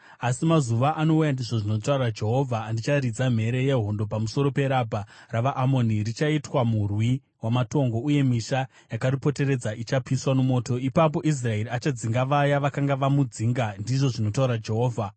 Asi mazuva anouya,” ndizvo zvinotaura Jehovha, “andicharidza mhere yehondo pamusoro peRabha ravaAmoni; richaitwa murwi wamatongo, uye misha yakaripoteredza ichapiswa nomoto. Ipapo Israeri achadzinga vaya vakanga vamudzinga,” ndizvo zvinotaura Jehovha.